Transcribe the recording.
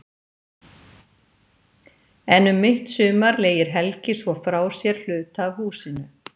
En um mitt sumar leigir Helgi svo frá sér hluta af húsinu.